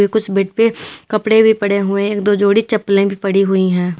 कुछ बेड पे कपड़े भी पड़े हुए एक दो जोड़ी चप्पले भी पड़ी हुई है।